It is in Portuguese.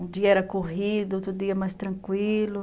Um dia era corrido, outro dia mais tranquilo.